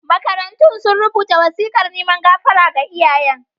Makarantun sun rubuta wasikar neman gafara ga iyayen.